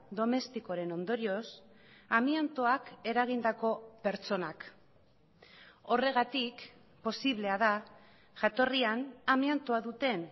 domestikoren ondorioz amiantoak eragindako pertsonak horregatik posiblea da jatorrian amiantoa duten